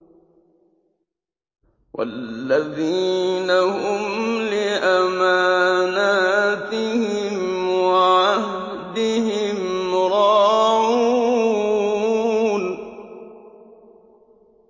وَالَّذِينَ هُمْ لِأَمَانَاتِهِمْ وَعَهْدِهِمْ رَاعُونَ